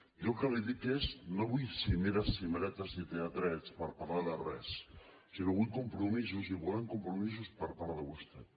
jo el que li dic és no vull cimeres cimeretes ni tea trets per parlar de res sinó que vull compromisos i volem compromisos per part de vostè